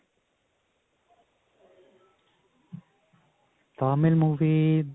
Tamil movie